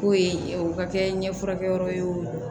K'o ye o ka kɛ ɲɛfurakɛyɔrɔ ye o